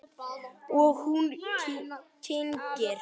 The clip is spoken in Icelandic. Og hún kyngir.